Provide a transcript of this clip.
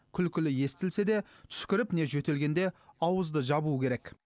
күлкілі естілсе де түшкіріп не жөтелгенде ауызды жабу керек